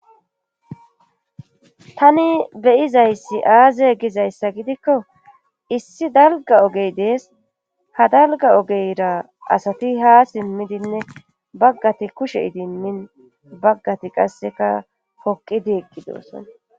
Tani beyizayssi aaze gizayssa gidikko issi dalga ogey dees ha dalga ogeyra asati ha simmidinne baggati kushe idimmin baggati qasseka hoqidi eqgidoosson.